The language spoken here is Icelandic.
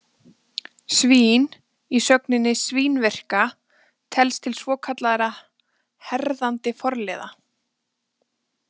Svín- í sögninni svínvirka telst til svokallaðra herðandi forliða.